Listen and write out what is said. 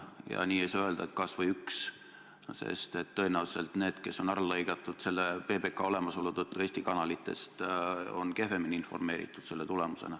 Ja nii ei saa öelda, et päästame kas või ühe inimese, sest tõenäoliselt need, kes on selle PBK olemasolu tõttu Eesti kanalitest ära lõigatud, on selle tulemusena kehvemini informeeritud.